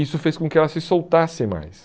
Isso fez com que ela se soltasse mais.